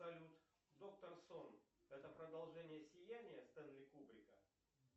салют доктор сон это продолжение сияния стэнли кубрика